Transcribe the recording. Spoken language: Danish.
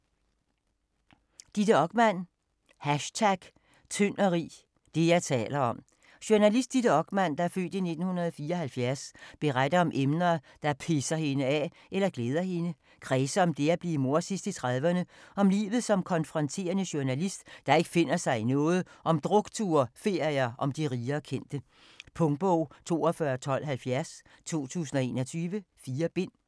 Okman, Ditte: #tyndogrig: det, jeg taler om Journalist Ditte Okman (f. 1974) beretter om emner, der pisser hende af eller glæder hende, og kredser om det at bliver mor sidst i 30'erne, om livet som konfronterende journalist, der ikke finder sig i noget, om drukture, ferier og om de rige og kendte. Punktbog 421270 2021. 4 bind.